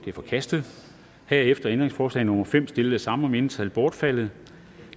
er forkastet herefter er ændringsforslag nummer fem stillet samme mindretal bortfaldet